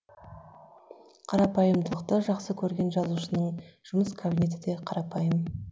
қарапайымдылықты жақсы көрген жазушының жұмыс кабинеті де қарапайым